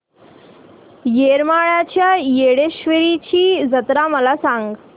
येरमाळ्याच्या येडेश्वरीची जत्रा मला सांग